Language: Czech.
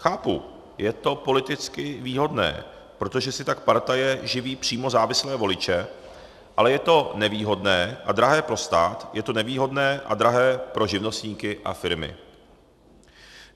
Chápu, je to politicky výhodné, protože si tak partaje živí přímo závislé voliče, ale je to nevýhodné a drahé pro stát, je to nevýhodné a drahé pro živnostníky a firmy.